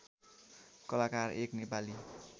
कलाकार एक नेपाली